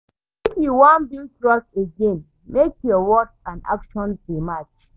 If you wan build trust again, make your words and actions dey match.